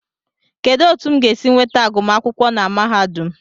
Kedụ etu m ga-esi nweta agụmakwụkwọ na mahadum